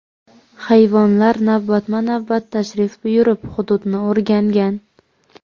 Hayvonlar navbatma-navbat tashrif buyurib, hududni o‘rgangan.